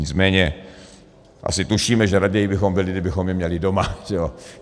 Nicméně asi tušíme, že raději bychom byli, kdybychom je měli doma.